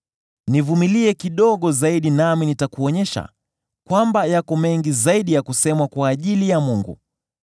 “Nivumilie kidogo zaidi nami nitakuonyesha kwamba yako mengi zaidi ya kusemwa kwa ajili ya Mungu.